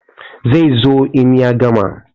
Zai zo in ya gama.